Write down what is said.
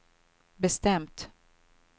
bestämt